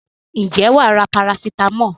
Ǹjẹ́ wà á ra parasitámọ̀?